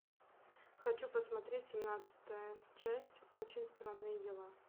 хочу посмотреть семнадцатая часть очень странные дела